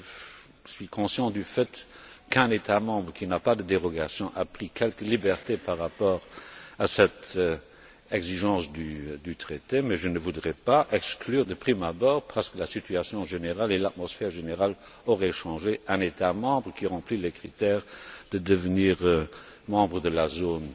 Je suis conscient du fait qu'un État membre qui n'a pas de dérogation a pris quelques libertés par rapport à cette exigence du traité, mais je ne voudrais pas exclure de prime abord parce que la situation générale et l'atmosphère ambiante auraient changé un État membre qui remplit les critères pour devenir membre de la zone